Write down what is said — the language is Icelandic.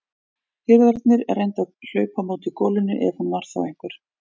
Hirðarnir reyndu að hlaupa á móti golunni ef hún var þá einhver.